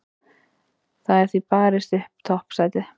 Það er því barist upp toppsætið.